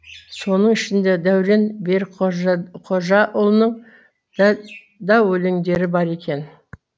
соның ішінде дәурен берікқожаұлының да өлеңдері бар екен